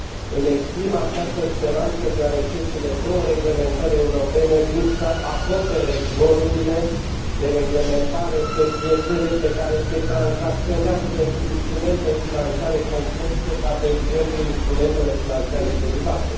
Îmi exprim această speranță deoarece cele două reglementări europene vin să acopere golurile de reglementare pe piețele pe care se tranzacționează instrumente financiare complexe, ca, de exemplu, instrumentele financiare derivate.